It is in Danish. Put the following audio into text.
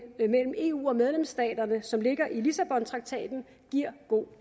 mellem eu og medlemsstaterne som ligger i lissabontraktaten giver god